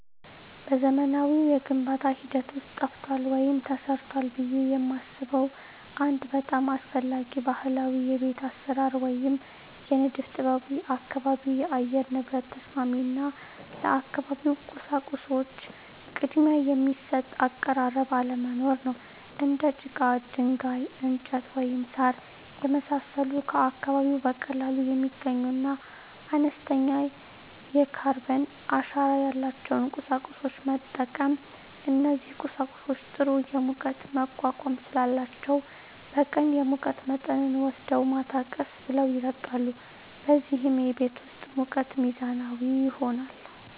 በዘመናዊው የግንባታ ሂደት ውስጥ ጠፍቷል ወይም ተረስቷል ብዬ የማስበው አንድ በጣም አስፈላጊ ባህላዊ የቤት አሰራር ወይም የንድፍ ጥበብ የአካባቢ የአየር ንብረት ተስማሚ እና ለአካባቢው ቁሳቁሶች ቅድሚያ የሚሰጥ አቀራረብ አለመኖር ነው። እንደ ጭቃ፣ ድንጋይ፣ እንጨት፣ ወይም ሣር የመሳሰሉ ከአካባቢው በቀላሉ የሚገኙና አነስተኛ የካርበን አሻራ ያላቸውን ቁሳቁሶች መጠቀም። እነዚህ ቁሳቁሶች ጥሩ የሙቀት መቋቋም ስላላቸው በቀን የሙቀት መጠንን ወስደው ማታ ቀስ ብለው ይለቃሉ፣ በዚህም የቤት ውስጥ ሙቀት ሚዛናዊ ይሆናል።